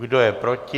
Kdo je proti?